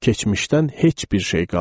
Keçmişdən heç bir şey qalmadı.